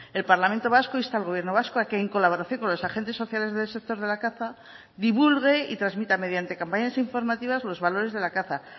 el parlamento vasco insta al gobierno vasco a que en colaboración con los agentes sociales del sector de la caza divulgue y transmita mediante campañas informativas los valores de la caza